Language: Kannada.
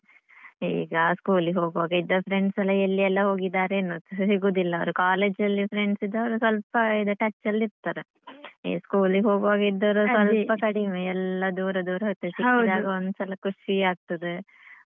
ಈಗ school ಗೆ ಹೋಗುವಾಗ ಇದ್ದ friends ಎಲ್ಲಾ ಎಲ್ಲಿಯೆಲ್ಲ ಹೋಗಿದ್ದಾರೋ ಏನೋ ಸಿಗುದಿಲ್ಲ ಅವರು college ಲ್ಲಿ friends ಇದ್ದವರು ಸ್ವಲ್ಪ ಇದು touch ಲ್ಲಿ ಇರ್ತಾರೆ. ಈ school ಗೆ ಹೋಗುವಾಗ ಇದ್ದವರು ಸ್ವಲ್ಪ ಕಡಿಮೆ ಎಲ್ಲ ದೂರ ದೂರ ಹೋಯಿತೇ ಸಿಕ್ಕಿದ್ದಾಗ ಒಂದ್ಸಲ ಖುಷಿ ಆಗ್ತದೆ.